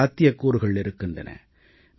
பல சாத்தியக்கூறுகள் இருக்கின்றன